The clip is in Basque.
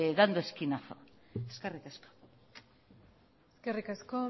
dando esquinazo eskerrik asko eskerrik asko